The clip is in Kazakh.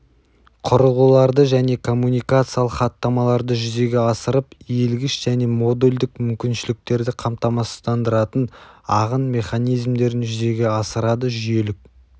құрылғыларды және коммуникациялық хаттамаларды жүзеге асырып иілгіш және модульдік мүмкіншіліктерді қамтамасыздандыратын ағын механизмдерін жүзеге асырады жүйелік